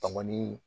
Bamani